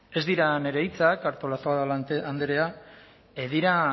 ez dira nire hitzak artolazabal andrea dira